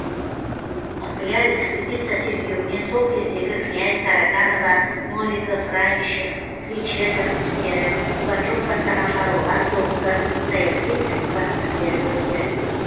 құпия экспедиция тергеуінен сол кездегі князь тараканова новиков радищев кречетов істері пугачев бастаған шаруалар соғысы саяси іс процестері өтті